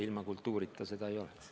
Ilma kultuurita seda ei oleks.